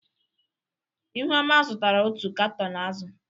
Ihuoma zụtara otu katọn azụ̀.